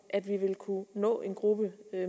at vi vil kunne nå en gruppe